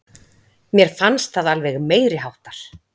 Mér fannst það alveg meiriháttar!